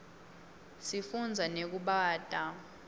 sifunza nekubata